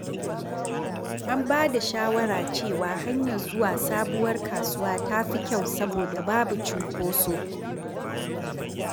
An ba da shawara cewa hanyar zuwa sabuwar kasuwa ta fi kyau saboda babu cunkoso.